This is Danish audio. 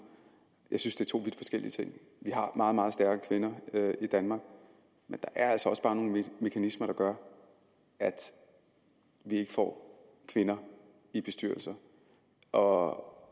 jeg synes det er to vidt forskellige ting vi har meget meget stærke kvinder i danmark men der er altså også bare nogle mekanismer der gør at vi ikke får kvinder i bestyrelser og